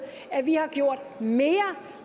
at vi har gjort mere